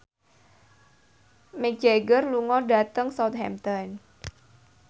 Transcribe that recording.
Mick Jagger lunga dhateng Southampton